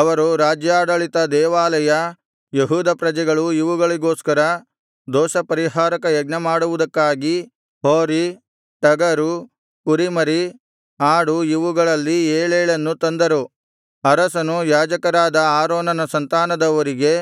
ಅವರು ರಾಜ್ಯಾಡಳಿತ ದೇವಾಲಯ ಯೆಹೂದ ಪ್ರಜೆಗಳು ಇವುಗಳಿಗೋಸ್ಕರ ದೋಷಪರಿಹಾರಕ ಯಜ್ಞಮಾಡುವುದಕ್ಕಾಗಿ ಹೋರಿ ಟಗರು ಕುರಿಮರಿ ಆಡು ಇವುಗಳಲ್ಲಿ ಏಳೇಳನ್ನು ತಂದರು ಅರಸನು ಯಾಜಕರಾದ ಆರೋನನ ಸಂತಾನದವರಿಗೆ